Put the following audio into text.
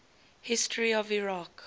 history of iraq